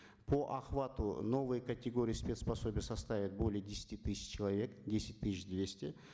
по охвату новые категории спец пособий составят более десяти тысяч человек десять тысяч двести